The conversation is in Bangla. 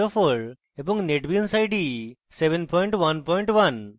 এবং netbeans ide সংস্করণ 711